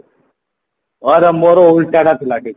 ମୋର ଓଲଟା ଟା ଥିଲା କି